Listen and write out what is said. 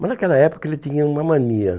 Mas naquela época ele tinha uma mania.